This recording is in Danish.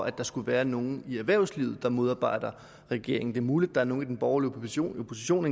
at der skulle være nogen i erhvervslivet der modarbejder regeringen det er muligt der er nogle i den borgerlige opposition opposition